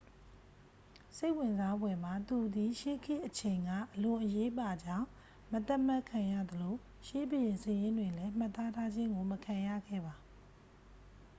စိတ်ဝင်စားဖွယ်မှာ သူသည် ရှေးခေတ်အချိန်က အလွန်အရေးပါကြောင်း မသတ်မှတ်ခံရသလို ရှေးဘုရင်စာရင်းတွင်လဲ မှတ်သားထားခြင်းကို မခံရခဲ့ပါ